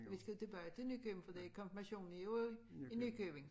Vi skal tilbage til Nykøbing fordi konfirmationen er jo i i Nykøbing